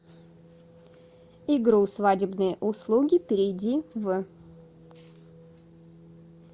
игру свадебные услуги перейди в